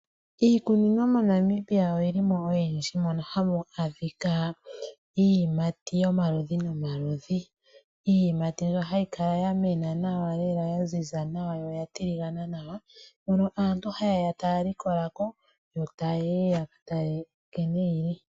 Iikunino moNamibia oyi li mo oyindji mono ha mu adhika iiyimati yomaludhi nomaludhi. Iiyimati mbyono hayi kala ya mena nawa lela, ya ziza nawa yo ya tiligana nawa mono aantu ha ye ya ta ya likola ko yo ta ya li.